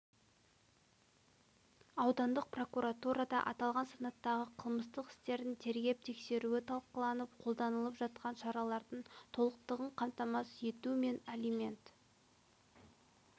аудандық прокуратурада аталған санаттағы қылмыстық істердің тергеп-тексеруі талқыланып қолданылып жатқан шаралардың толықтығын қамтамасыз ету мен алимент